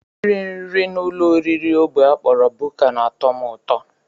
Iri nri n'ụlọoriri ógbè a kpọrọ buka na-atọ m ụtọ